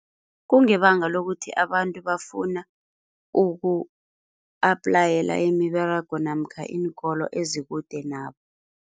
Kungebanga lokuthi abantu bafuna uku-aplayela imiberego namkha iinkolo ezikude nabo.